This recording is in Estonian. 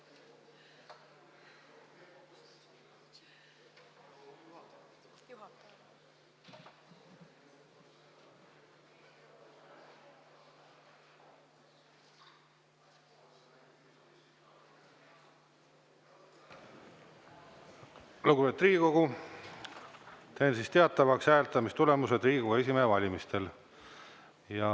Lugupeetud Riigikogu, teen teatavaks hääletamistulemused Riigikogu esimehe valimisel.